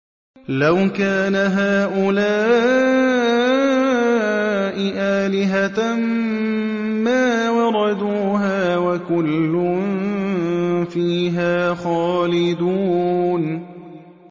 لَوْ كَانَ هَٰؤُلَاءِ آلِهَةً مَّا وَرَدُوهَا ۖ وَكُلٌّ فِيهَا خَالِدُونَ